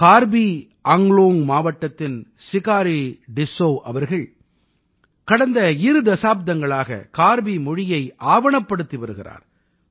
கார்பி அங்க்லோங் மாவட்டத்தின் சிகாரீ சிஸ்ஸௌ அவர்கள் கடந்த இரு தசாப்தங்களாக கார்பி மொழியை ஆவணப்படுத்தி வருகிறார்